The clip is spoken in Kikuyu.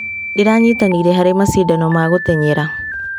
Ndĩranyitanĩire harĩ macindano ma gũtenyera.